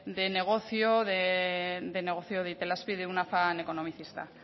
de negocio de negocio de itelazpi de un afán economicista